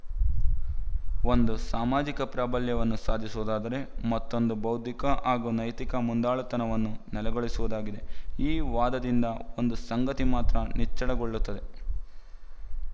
ಒಂದು ಸಾಮಾಜಿಕ ಪ್ರಾಬಲ್ಯವನ್ನು ಸಾಧಿಸುವುದಾದರೆ ಮತ್ತೊಂದು ಬೌದ್ಧಿಕ ಹಾಗೂ ನೈತಿಕ ಮುಂದಾಳುತನವನ್ನು ನೆಲೆಗೊಳಿಸುವುದಾಗಿದೆ ಈ ವಾದದಿಂದ ಒಂದು ಸಂಗತಿ ಮಾತ್ರ ನಿಚ್ಚಳಗೊಳ್ಳುತ್ತದೆ